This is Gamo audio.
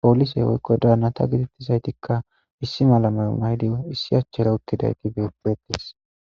poolisey woykko daanata gidettizaytikka issi malameyo maydi issi achchera uttidayti beetes